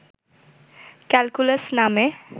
calculus নামে